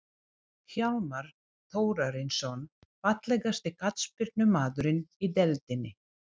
Hjálmar Þórarinsson Fallegasti knattspyrnumaðurinn í deildinni?